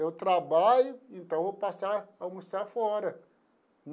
Eu trabalho, então vou passar a almoçar fora.